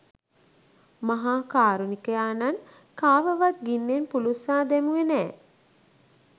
මහා කාරුණිකයාණන් කාවවත් ගින්නෙන් පුළුස්සා දැමුවේ නෑ.